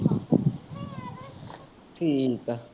ਠੀਕ ਆ।